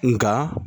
Nga